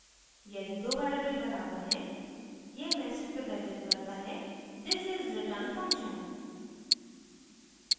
यदि दो variables बराबर हैं यह message प्रदर्शित करता है this is return function